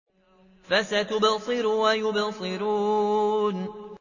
فَسَتُبْصِرُ وَيُبْصِرُونَ